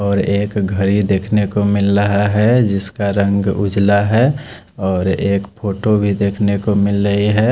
और एक घड़ी देख ने को मिल रहा है जिसका रंग उजला है और एक फोटो भी देख ने को मिल रही है ।